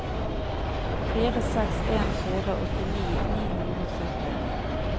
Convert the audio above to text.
fire seks en fire åttini ni hundre og sytti